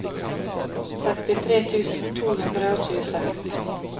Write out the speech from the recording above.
sekstitre tusen to hundre og tjueseks